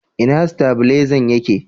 ina stabilezan yake?